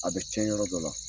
A bɛ tiɲɛ yɔrɔ dɔ la